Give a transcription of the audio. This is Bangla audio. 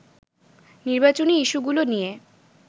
নির্বাচনী ইস্যুগুলো নিয়ে